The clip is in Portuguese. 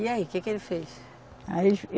E aí, o que que ele fez? Aí ele